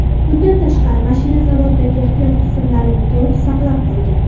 Bundan tashqari, mashina zavoddagi ehtiyot qismlarini to‘liq saqlab qolgan.